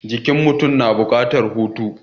Jikin mutum na buƙatar hutu.